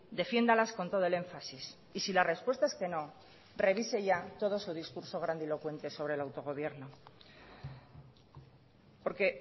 defiéndalas con todo el énfasis y si la respuesta es que no revise ya todo su discurso grandilocuente sobre el autogobierno porque